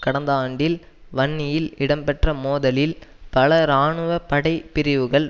கடந்த ஆண்டில் வன்னியில் இடம் பெற்ற மோதுதலில் பல இராணுவ படை பிரிவுகள்